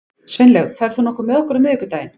Sveinlaug, ferð þú með okkur á miðvikudaginn?